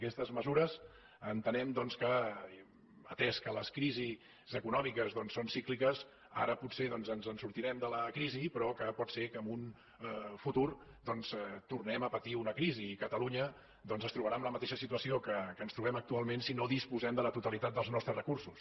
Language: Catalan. aquestes mesures entenem doncs que atès que les crisis econòmiques doncs són cícliques ara potser ens sortirem de la crisi però que pot ser que en un futur doncs tornem a patir una crisi i catalunya es trobarà en la mateixa situació que ens trobem actualment si no disposem de la totalitat dels nostres recursos